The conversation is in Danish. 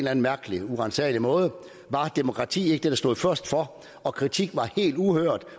anden mærkelig uransagelig måde var demokrati ikke det der stod først for og kritik var helt uhørt